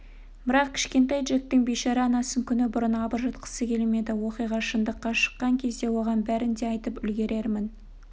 бірақ кішкентай джектің бейшара анасын күні бұрын абыржытқысы келмеді оқиға шындыққа шыққан кезде оған бәрін де айтып үлгерермін